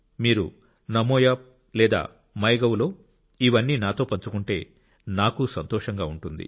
మీరు నమోయాప్ లేదా మైగవ్లో ఇవన్నీ నాతో పంచుకుంటే నాకు సంతోషంగా ఉంటుంది